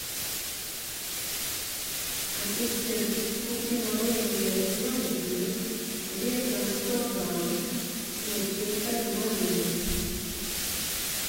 ассистент купи мороженое пломбир весом сто грамм с начинкой малины